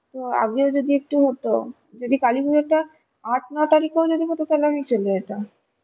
তো আগেও যদি একটু হতো যদি কালিপুজোটা আঠ নয় তারিখেও যদি হতো তাহলে আমি চলে যেতাম